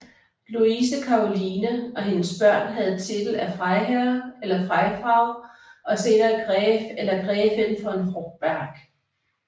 Luise Karoline og hendes børn havde titel af Freiherr eller Freifrau og senere Gräf eller Gräfin von Hochberg